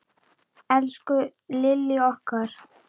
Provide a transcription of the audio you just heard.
Elsku Lillý okkar.